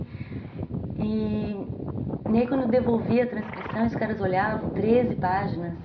E aí, quando eu devolvi a transcrição, os caras olhavam, treze páginas.